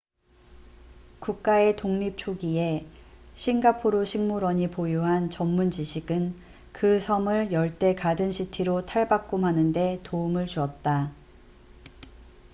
국가의 독립 초기에 싱가포르 식물원singapore botanic gardens이 보유한 전문 지식은 그 섬을 열대 가든 시티로 탈바꿈하는 데 도움을 주었다